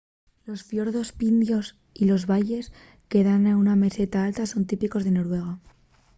los fiordos pindios y los valles que dan a una meseta alta son típicos de noruega